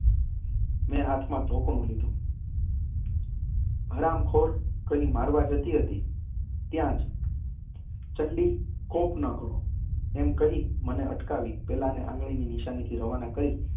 મેં હાથમાં ધોકાણું લીધું. હરામખોર. કહી મારવા જતી હતી ત્યાંજ ચંડી, કોપ ન કરો. કહી મને અટકાવી, પેલાને આંગળીની નિશાનીથી રવાના કરી